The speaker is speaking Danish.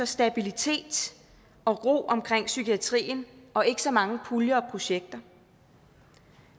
stabilitet og ro omkring psykiatrien og ikke så mange puljer og projekter